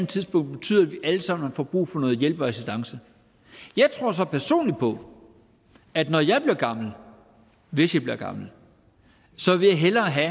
tidspunkt betyder at vi alle sammen får brug for noget hjælp og assistance jeg tror så personligt på at når jeg bliver gammel hvis jeg bliver gammel så vil jeg hellere have